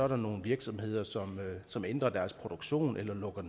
nogle virksomheder som som ændrer deres produktion eller lukker